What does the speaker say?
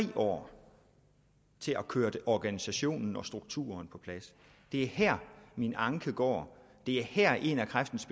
år til at køre organisationen og strukturen på plads det er her min anke går det er her en af kræftens